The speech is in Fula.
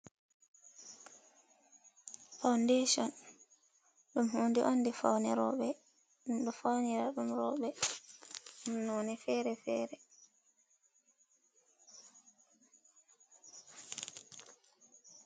foundation dum hudi on do fawnira dum robe noni fere fere